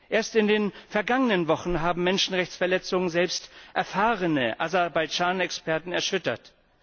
Erst in den vergangenen Wochen haben Menschenrechtsverletzungen selbst erfahrene Aserbaidschan Experten erschüttert.